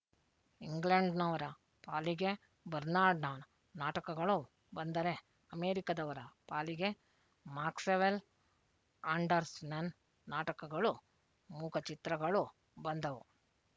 ಇಂಗ್ಲೆಂಡ್‍ನವರ ಪಾಲಿಗೆ ಬರ್ನಾಡ್ಷಾನ ನಾಟಕಗಳು ಬಂದರೆ ಅಮೆರಿಕದವರ ಪಾಲಿಗೆ ಮಾಕ್ಸ್‍ವೆಲ್ ಆಂಡರ್‍ಸನನ್ ನಾಟಕಗಳು ಮೂಕಚಿತ್ರಗಳು ಬಂದವು